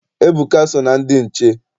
Ebuka so na ndị nche.